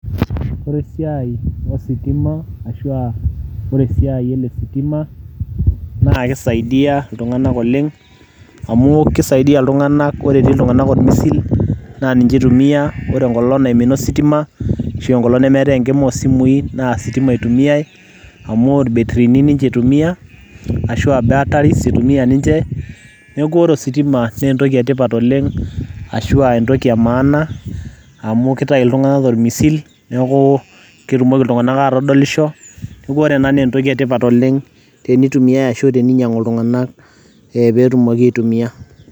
ore esiai ositima ashua ore esiai ele sitima naa kisaidia iltunganak oleng amu kisaidia iltunganak amu ore etii iltunganak ormisil naa ninye eitumia enkolong naimina ositima ashu enkolong nemeetae enkima osimui naa ositima itumiay amu irbetirini ninye itumia ashuaa batteries itumia ninche. niaku ore ositima naa etoki etipat ashuaa entoki emaana amu kitayu iltunganak tormisim niaku ketumoki iltungank atodolisho .niaku ore ena naa entoki etipat oleng tenitumiay ashu teninyiangu iltunganak ee petumoki aitumia.